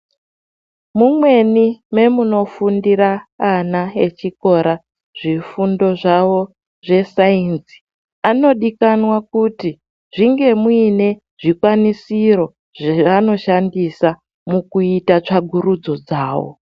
Mumweni mwe munofundira ana echikora zvifundo zvavo zve sainzi anodikanwa kuti zvinge muine zvikwanisiro zvavanoshandisa mukuite tsvakurudzo dzavo.